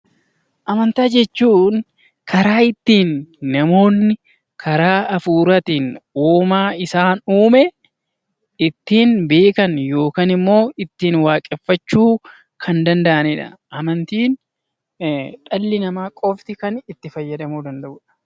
Amantaa jechuun karaa ittiin namoonni karaa hafuuraatiin uumaa isaan uume ittiin beekan yookaan immoo ittiin waaqeffachuu kan danda'anii dha. Amantiin dhalli namaa qofti kan itti fayyadamuu danda'uu dha.